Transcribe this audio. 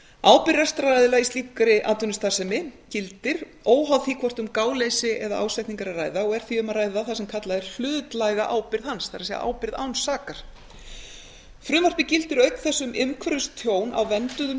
ábyrgð rekstraraðila í slíkri atvinnustarfsemi gildir óháð því hvort um gáleysi eða ásetning er að ræða og er því um að ræða það sem kallað er hlutlæga ábyrgð hans það er ábyrgð án sakar frumvarpið gildir auk þess um umhverfistjón á vernduðum